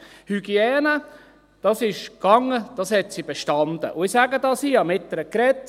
Hygiene ging, das hat sie bestanden, und ich sage dies hier, ich habe mit ihr gesprochen.